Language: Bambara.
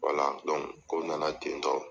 ko nana tentɔ.